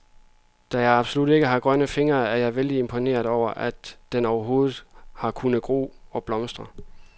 Da jeg absolut ikke har grønne fingre, er jeg vældig imponeret over, at den overhovedet har kunnet gro og blomstre.